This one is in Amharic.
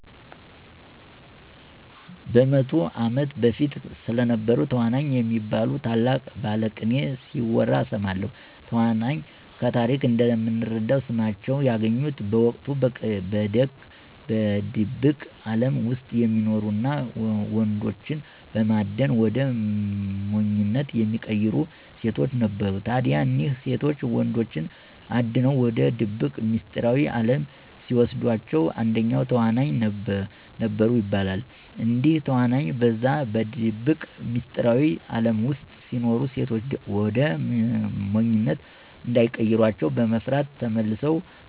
በ100 ዓመት በፊት ስለነበሩ ተዋናይ የሚባሉ ታላቅ ባለቅኔ ሲወራ እሰማለሁ። ተዋናይ ከታሪክ እንደምንረዳው ስማቸውን ያገኙት በወቅቱ በድብቅ አለም ውስጥ የሚኖሩ እና ወንዶችን በማደን ወደ ሞኝነት የሚቀይሩ ሴቶች ነበሩ። ታዲያ እነዚህ ሴቶች ወንዶችን አድነው ወደ ድብቅ ሚስጥራዊ አለም ሲወስዷቸዉ አንደኛው ተዋናይ ነበሩ ይባላል። እንግዲህ ተዋናይ በዛ በድብቅ ሚስጥራዊ አለም ውስጥ ሲኖሩ ሴቶች ወደ ሞኝነት እንዳይቀሯቸው በመፍራት ተመልሰው